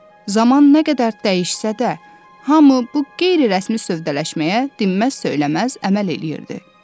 Zaman nə qədər dəyişsə də, hamı bu qeyri-rəsmi sövdələşməyə dinməz söyləməz əməl eləyirdi.